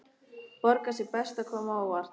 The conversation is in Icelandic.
Borgar sig best að koma á óvart.